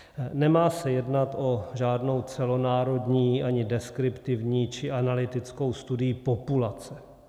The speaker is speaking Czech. Nemá se jednat o žádnou celonárodní, ani deskriptivní či analytickou studii populace.